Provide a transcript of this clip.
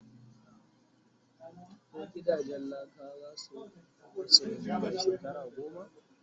ko gidajen laka zasu bace Nan da. shekara goma?